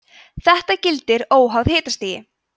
þetta gildir óháð hitastigi